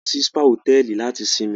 A lọ sì spa hotẹẹli làti sinmi